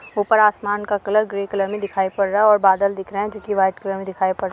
ऊपर आसमान का रंग ग्रे कलर में दिखाई पड़ रहा है और बादल दिख रहे हैं जो की वाइट कलर में दिखाई पड़ --